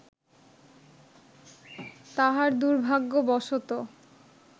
তাহার দুর্ভাগ্যবশত